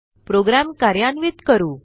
program कार्यान्वित करू